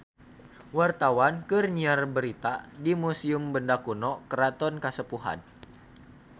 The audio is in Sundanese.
Wartawan keur nyiar berita di Museum Benda Kuno Keraton Kasepuhan